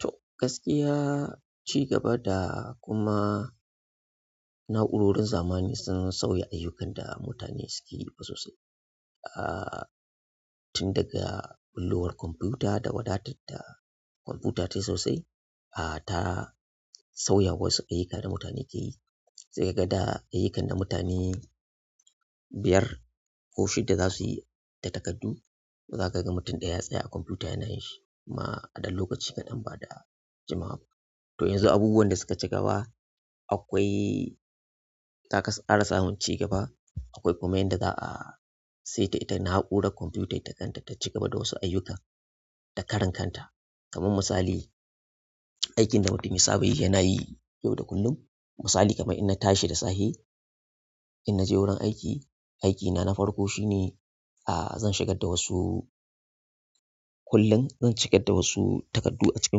To gaskiya ci gaba da kuma na'urorin zamani sun sauya ayyukan da mutane suke yi sosai. Ah tin daga ɓullo war kwamfuta da wadatarta kwamfuta ta sosai, ah ta sauya wasu ayyuka da mutane ke yi. Sai ka ga da ayyukan da mutane biyar ko shida za su yi da takardu, za ka ga mutum ɗaya ya tsaya a kwamfuta yana yin shi kuma a ɗan lokaci kaɗan ba da jimawa ba. Toh yanzu abubuwan da suka cigaba akwai an kara samun cigaba akwai kuma yanda zaa saita ita naurar kwamfuta ita kanta ta cigaba da wasu ayukan da karan kanta kamar misali, aikin da mutum ya saba yi yana yi yau da kullum, misali kamar ina tashi da safe, in na je wurin aiki, aikina na farko shine ah zan shigar da wasu kullum, zan shigar da wasu takardu a cikin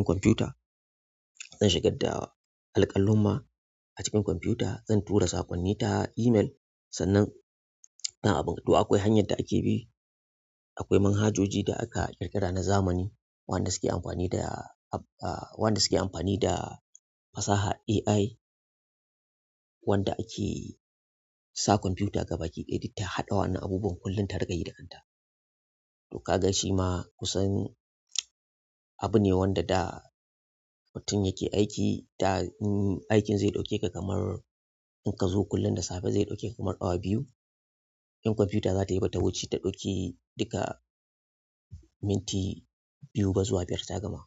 kwamfuta. Zan shigar da alkallumma a cikin kwamfuta, zan tura saƙonni ta email sannan na abun. Toh akwai hanyar da ake bi akwai manhajoji da aka ƙirƙira na zamanin waɗanda suke amfani da fasahar AI wanda ake sa kwamfuta gabaki da ya ta haɗe waɗannan abubuwa da dinga yi da kanta to kaga shima kusan abu neh wanda da mutum yake aiki da in aikin zai daukeka kamar in kazo kullum da safe zai daukeka kamar awa biyu in kwamfuta zatayi bata wuce ta ɗauki duka minti biyu ba zuwa biyar ta gama.